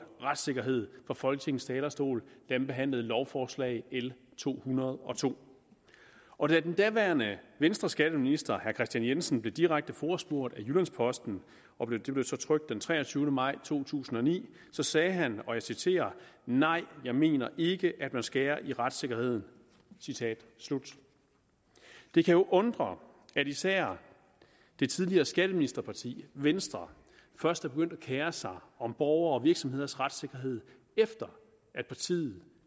retssikkerhed fra folketingets talerstol da man behandlede lovforslag l to hundrede og to og da den daværende venstreskatteminister herre kristian jensen blev direkte forespurgt af jyllands posten og det blev så trykt den treogtyvende maj to tusind og ni sagde han og jeg citerer nej jeg mener ikke at man skærer i retssikkerheden citat slut det kan jo undre at især det tidligere skatteministerparti venstre først er begyndt at kere sig om borgeres og virksomheders retssikkerhed efter at partiet